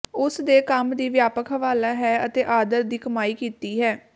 ਉਸ ਦੇ ਕੰਮ ਦੀ ਵਿਆਪਕ ਹਵਾਲਾ ਹੈ ਅਤੇ ਆਦਰ ਦੀ ਕਮਾਈ ਕੀਤੀ ਹੈ